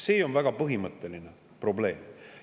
See on väga põhimõtteline probleem.